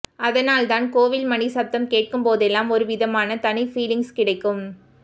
அதனால் தான் கோவில் மணி சப்தம் கேட்கும்போதெல்லாம் ஒரு விதமான தனி பீலிங்க்ஸ் கிடைக்கும்